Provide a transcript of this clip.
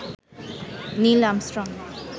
Neil Armstrong